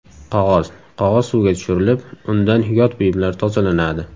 Qog‘oz Qog‘oz suvga tushirilib, undan yot buyumlar tozalanadi.